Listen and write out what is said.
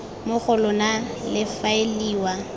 mo go lona le faeliwa